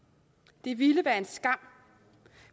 det ville være en skam